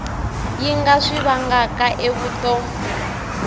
yi nga swi vangaka evuton